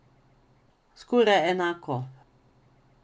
Skoraj enako.